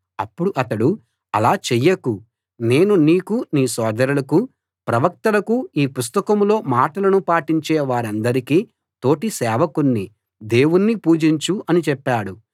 అప్పుడు అతడు అలా చెయ్యకు నేను నీకూ నీ సోదరులకూ ప్రవక్తలకూ ఈ పుస్తకంలో మాటలను పాటించే వారందరికీ తోటి సేవకుణ్ణి దేవుణ్ణి పూజించు అని చెప్పాడు